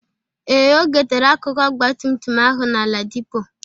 Ee, O gotere akụkụ ọgbatumtum ahụ na Ladipo.